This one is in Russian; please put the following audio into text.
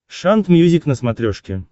шант мьюзик на смотрешке